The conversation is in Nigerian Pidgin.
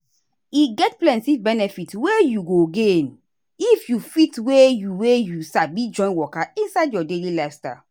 e get plenty benefit wey you go gain if you fit wey you wey you sabi join waka inside your daily lifestyle.